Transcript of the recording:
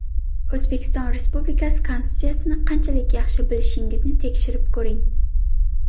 O‘zbekiston Respublikasi Konstitutsiyasini qanchalik yaxshi bilishingizni tekshirib ko‘ring!